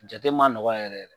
Jate ma nɔgɔ yɛrɛ